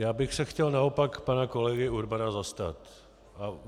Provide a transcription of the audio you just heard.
Já bych se chtěl naopak pana kolegy Urbana zastat.